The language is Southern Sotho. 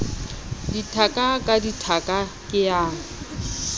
dithaka ka dithaka ke ya